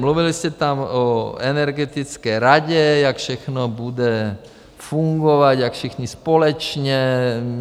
Mluvili jste tam o energetické radě, jak všechno bude fungovat, jak všichni společně.